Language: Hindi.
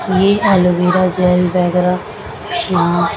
यह एलोवेरा जेल वगैरह यहां--